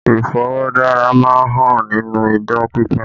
Iforodara má ń hàn nínú idán pípa